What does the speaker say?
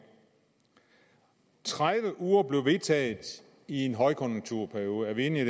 de tredive uger blev vedtaget i en højkonjunkturperiode er vi enige